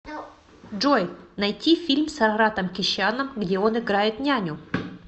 джой найти фильм с араратом кещяном где он играет няню